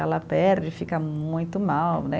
Ela perde, fica muito mal, né?